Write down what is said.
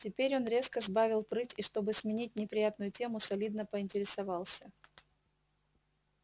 теперь он резко сбавил прыть и чтобы сменить неприятную тему солидно поинтересовался